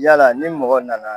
Yala ni mɔgɔ nana